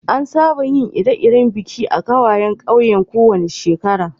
An saba yin Ire-iren biki a'kawayan kauyen ko wani sheƙara.